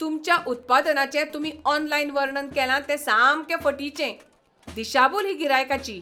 तुमच्या उत्पादनाचें तुमी ऑनलायन वर्णन केलां तें सामकें फटिचें, दिशाभूल ही गिरायकाची!